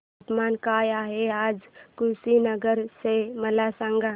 तापमान काय आहे आज कुशीनगर चे मला सांगा